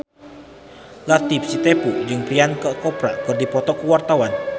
Latief Sitepu jeung Priyanka Chopra keur dipoto ku wartawan